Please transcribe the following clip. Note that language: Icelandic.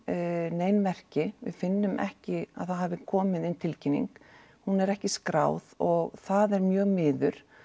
nein merki við finnum ekki að það hafi komið inn tilkynning hún er ekki skráð og það er mjög miður